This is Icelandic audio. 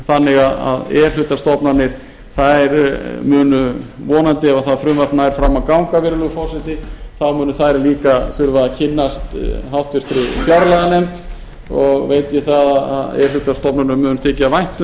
þannig að e hlutastofnanir munu vonandi ef það frumvarp nær fram að ganga virðulegi forseti þá munu þær líka þurfa að kynnast háttvirtri fjárlaganefnd og veit ég það að e hluta stofnunum mun þykja vænt um